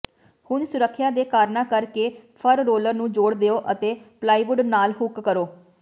ਹੁਣ ਸੁਰੱਖਿਆ ਦੇ ਕਾਰਨਾਂ ਕਰਕੇ ਫ਼ਰ ਰੋਲਰ ਨੂੰ ਜੋੜ ਦਿਓ ਅਤੇ ਪਲਾਈਵੁੱਡ ਨਾਲ ਹੁੱਕ ਕਰੋ